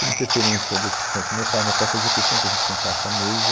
Por interferência das discussões com o meu pai, o meu pai fazia questão que a gente sentasse à mesa,